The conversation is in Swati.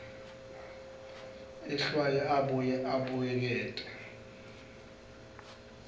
ehlwaye abuye abuyekete